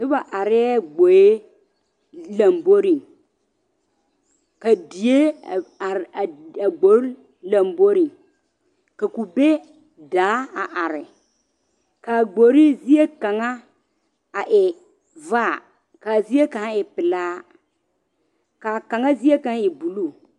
Noba arɛɛ gboe lomboriŋ, a die a are a gbori lomboriŋ ka kube daa a are, ka a gbori zie kaŋa a e vaa ka zie kaŋa e pelaa ka a kaŋa zie kaŋa e buluu.